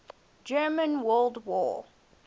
german world war